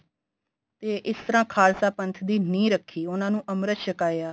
ਤੇ ਇਸ ਤਰ੍ਹਾਂ ਖਾਲਸਾ ਪੰਥ ਦੀ ਨਿਹ ਰੱਖੀ ਉਨ੍ਹਾਂ ਨੂੰ ਅਮ੍ਰਿਤ ਛਕਾਇਆ